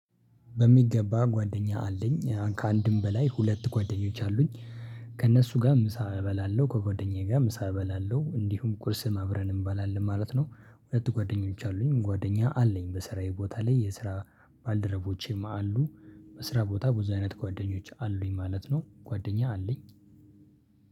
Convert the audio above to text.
በሚገባ ጓደኛ አለኝ ከአንድም በላይ ሁለት ጓደኞች አሉኝ ከእነሱ ጋር ምሳ እበላለሁ ከጓደኛዬ ጋር ምሳ እበላለሁ እንዲሁም ቁርስም አብረን እንበላለን ማለት ነው። ሁለት ጓደኞች አሉኝ ጓደኛ አለኝ በስራዬ ቦታ ላይ የስራ ባልደረቦቼም አሉ። በስራ ቦታ ብዙ አይነት ጓደኞች አሉኝ ማለት ነው። ጓደኛ አለኝ።